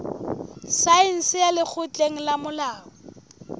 saense ya lekgotleng la molao